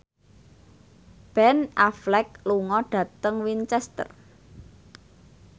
Ben Affleck lunga dhateng Winchester